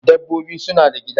Dabbobi suna da gida